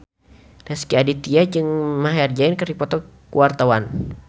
Rezky Aditya jeung Maher Zein keur dipoto ku wartawan